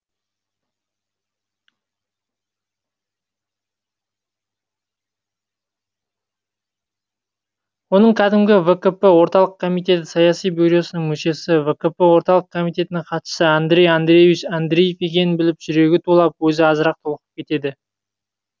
оның кәдімгі вкп орталық комитеті саяси бюросының мүшесі вкп орталық комитетінің хатшысы андрей андреевич андреев екенін біліп жүрегі тулап өзі азырақ толқып кетеді